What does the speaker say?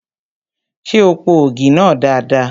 Ṣé o po ògì náà dada?